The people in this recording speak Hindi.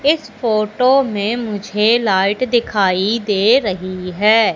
इस फोटो में मुझे लाइट दिखाई दे रही है।